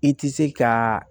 I tɛ se ka